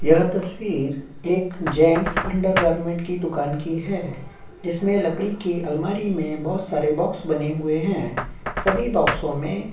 यह तस्वीर एक जेन्स अंडर गारमेंट की दुकान की है। जिसमें लकड़ी के अलमारी में बोहत सारे बॉक्स बने हुए हैं। सभी बॉक्सों में --